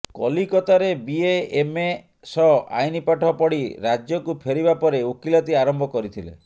କଲିକତାରେ BA MA ସହ ଆଇନ୍ ପାଠ ପଢ଼ି ରାଜ୍ୟକୁ ଫେରିବା ପରେ ଓକିଲାତି ଆରମ୍ଭ କରିଥିଲେ